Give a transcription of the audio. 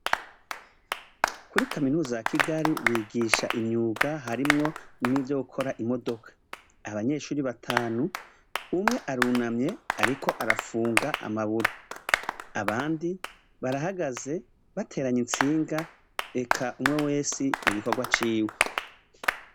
Kuri kaminuza ya Kigali, bigisha imyuga harimwo nivyo gukora imodoka. Abanyeshure batanu, umwe arunamye, ariko arafunga amaburo. Abandi barahagaze bateranya itsinga, eka umwe wese mu bikorwa ciwe.